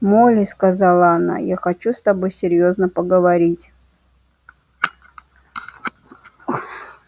молли сказала она я хочу с тобой серьёзно поговорить